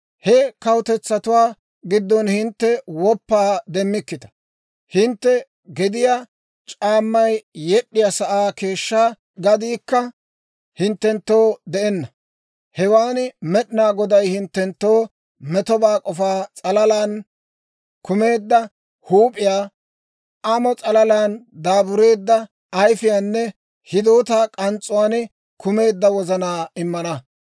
He kawutetsatuwaa giddon hintte woppaa demmikkita; hintte gediyaa c'aammay yed'd'iyaa sa'aa keeshshaa gadiikka hinttenttoo de'enna. Hewaan Med'inaa Goday hinttenttoo metobaa k'ofa s'alalaan kumeedda huup'iyaa, amo s'alalaan daabureedda ayifiyaanne hidootaa k'ans's'uwaan kumeedda wozanaa immana.